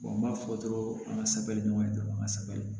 n b'a fɔ dɔrɔn an ka sabali ɲɔgɔn ye dɔrɔn an ka sɛbɛ